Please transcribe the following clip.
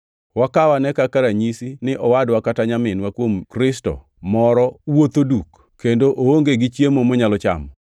Wakaw ane kaka ranyisi ni owadwa kata nyaminwa kuom Kristo moro wuotho duk kendo oonge gi chiemo monyalo chamo.